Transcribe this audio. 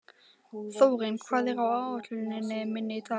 Þórinn, hvað er á áætluninni minni í dag?